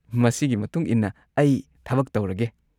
ꯃꯁꯤꯒꯤ ꯃꯇꯨꯡ ꯏꯟꯅ ꯑꯩ ꯊꯕꯛ ꯇꯧꯔꯒꯦ꯫